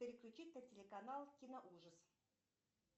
переключить на телеканал киноужас